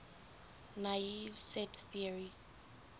naive set theory